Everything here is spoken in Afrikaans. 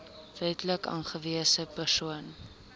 wetlik aangewese persoon